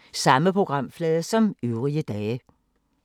Samme programflade som øvrige dage